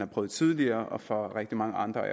prøvet tidligere og for mange andre